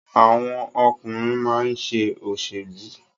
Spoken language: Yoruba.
Àwọn ọkùnrin máa ń ṣe òṣèlú.